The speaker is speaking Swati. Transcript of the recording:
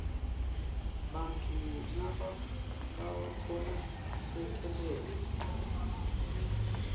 bantfu labatfola selekelelo